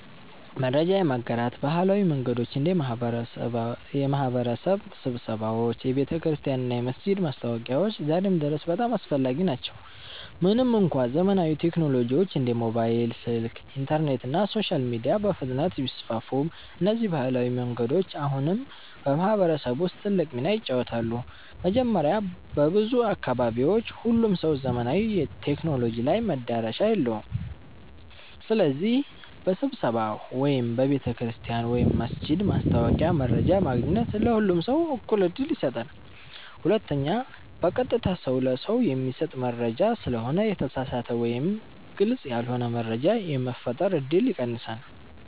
መረጃ የማጋራት ባህላዊ መንገዶች እንደ የማህበረሰብ ስብሰባዎች፣ የቤተክርስቲያን እና የመስጊድ ማስታወቂያዎች ዛሬም ድረስ በጣም አስፈላጊ ናቸው። ምንም እንኳ ዘመናዊ ቴክኖሎጂዎች እንደ ሞባይል ስልክ፣ ኢንተርኔት እና ሶሻል ሚዲያ በፍጥነት ቢስፋፉም፣ እነዚህ ባህላዊ መንገዶች አሁንም በማህበረሰብ ውስጥ ትልቅ ሚና ይጫወታሉ። መጀመሪያ፣ በብዙ አካባቢዎች ሁሉም ሰው ዘመናዊ ቴክኖሎጂ ላይ መዳረሻ የለውም። ስለዚህ በስብሰባ ወይም በቤተ ክርስቲያን/መስጊድ ማስታወቂያ መረጃ ማግኘት ለሁሉም ሰው እኩል ዕድል ይሰጣል። ሁለተኛ፣ በቀጥታ ሰው ለሰው የሚሰጥ መረጃ ስለሆነ የተሳሳተ መረጃ ወይም ግልጽ ያልሆነ መረጃ የመፈጠር እድል ይቀንሳል።